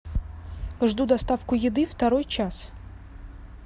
жду доставку еды второй час